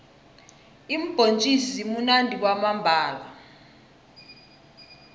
iimbhontjisi zimunandi kwamambhala